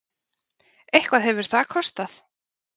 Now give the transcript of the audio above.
Eitthvað hefur það kostað!